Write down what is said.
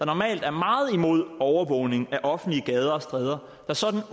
normalt er meget imod overvågning af offentlige gader og stræder der sådan